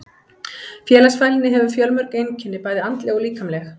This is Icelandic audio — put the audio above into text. Félagsfælni hefur fjölmörg einkenni, bæði andleg og líkamleg.